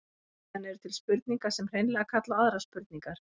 Síðan eru til spurningar sem hreinlega kalla á aðrar spurningar.